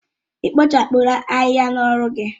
Ị kpochapụla ahịhịa n'ọrụ gị?